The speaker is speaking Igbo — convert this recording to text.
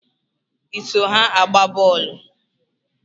Ị so ha agba boolu?